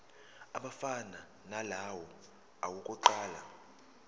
afana nalawo awokuqala